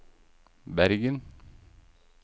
Bergen